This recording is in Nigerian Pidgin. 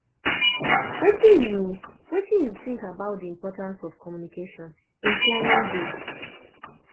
wetin you wetin you think about di importance of communication in planning dates